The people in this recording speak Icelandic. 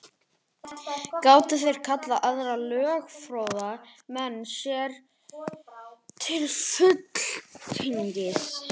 Gátu þeir kallað aðra lögfróða menn sér til fulltingis.